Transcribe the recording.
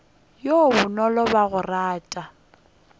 yo bonolo wa go rata